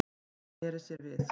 Hún sneri sér við.